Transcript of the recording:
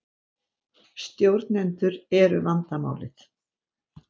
Stjórnendur eru vandamálið